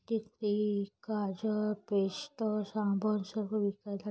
तिथे काजळ पेस्ट साबण सगळ विकायला--